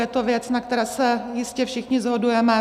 Je to věc, na které se jistě všichni shodujeme.